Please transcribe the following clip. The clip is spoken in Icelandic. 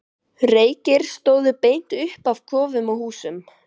Reykir stóðu beint upp af kofum og húsum.